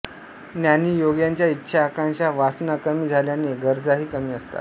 ज्ञानी योग्यांच्या इच्छा आकांक्षा वासना कमी झाल्याने गरजाही कमी असतात